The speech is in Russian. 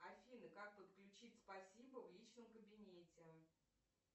афина как подключить спасибо в личном кабинете